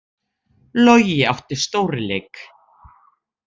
Logi átti stórleik